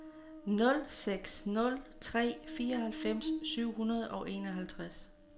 nul seks nul tre fireoghalvfems syv hundrede og enoghalvtreds